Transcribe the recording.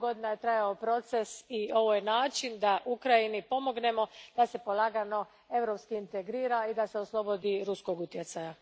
Dugo godina je trajao proces i ovo je način da Ukrajini pomognemo da se polagano europski integrira i da se oslobodi ruskog utjecaja.